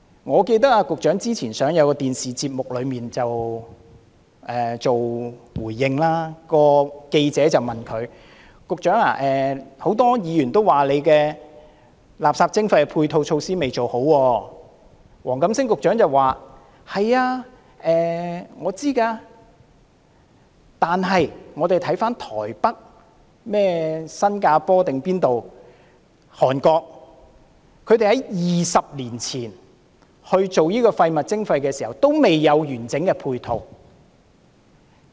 我記得局長之前出席一個電視節目，記者提問時說很多議員都說垃圾徵費未有做好配套措施，黃錦星局長便回應說自己都知道，但台北、新加坡等地......韓國在20年前推行垃圾徵費時也未有完整的配套。